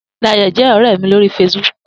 Dayo jè òrè mi lóri fésibùk